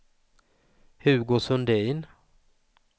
Hugo Sundin